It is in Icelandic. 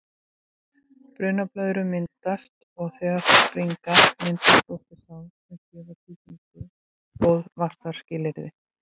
Brunablöðrur myndast og þegar þær springa myndast opin sár sem gefa sýklum góð vaxtarskilyrði.